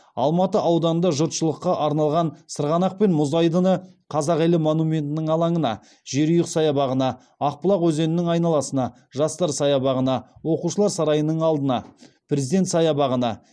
алматы ауданында жұртшылыққа арналған сырғанақ пен мұз айдыны қазақ елі монументінің алаңына жерұйық саябағына ақбұлақ өзенінің айналасына жастар саябағына оқушылар сарайының алдына президент саябағына